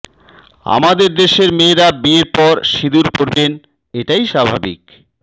আমাদের দেশের মেয়েরা বিয়ের পর সিঁদুর পরবেন এটাই স্বাভাবিক